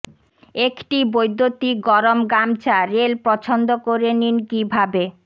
একটি বৈদ্যুতিক গরম গামছা রেল পছন্দ করে নিন কিভাবে